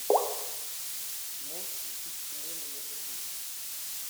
можешь включить кино не может быть